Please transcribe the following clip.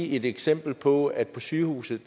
give et eksempel på at på sygehuse